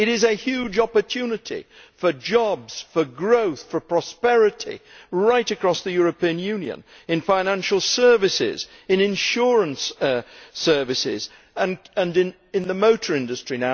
It is a huge opportunity for jobs, growth and prosperity, right across the European Union in financial services, insurance services and the motor industry.